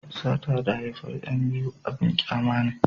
sata da haifan yan biyu abun kyama ne